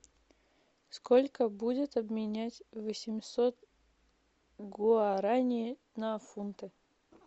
сколько будет обменять восемьсот гуарани на фунты